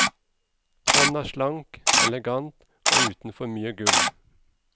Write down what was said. Hånda slank, elegant og uten for mye gull.